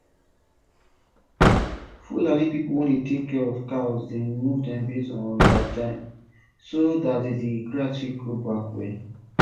fulani people wey dey tak cia of cows dey move dem based on dia time so dat de grass fit grow back well